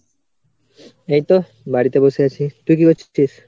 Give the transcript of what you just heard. এইতো বাড়িতে বসে আছি। তুই কি করছিস?